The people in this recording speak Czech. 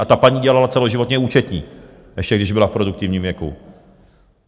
A ta paní dělala celoživotně účetní, ještě když byla v produktivním věku.